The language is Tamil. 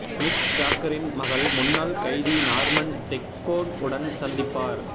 மிக் ஜாக்கரின் மகள் முன்னாள் கைதி நார்மன் தெக்கோன் உடன் சந்திப்பார்